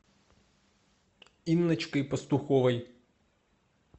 инночкой пастуховой